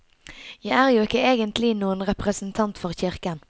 Jeg er jo ikke egentlig noen representant for kirken.